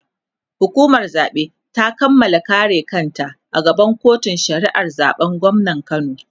hukumar zaɓe ta Kamala kare kanta a gaban kotun shari'ar zaɓen gwamnan kano